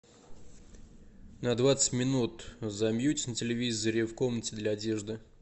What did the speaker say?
на двадцать минут замьють на телевизоре в комнате для одежды